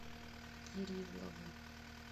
кириллову